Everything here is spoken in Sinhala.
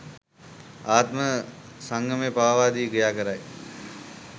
ආත්ම සංයමය පාවා දී ක්‍රියාකරයි.